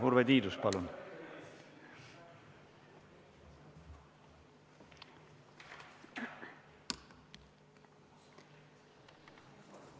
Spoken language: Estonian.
Urve Tiidus, palun!